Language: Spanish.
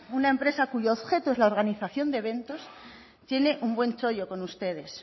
una empresa cuyo objeto es la organización de eventos tiene un buen chollo con ustedes